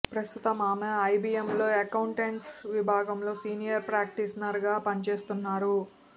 ప్రస్తుతం ఆమె ఐబిఎంలో అక్కౌంట్స్ విభాగంలో సీనియర్ ప్రాక్టీషనర్గా పనిచేస్తున్నారు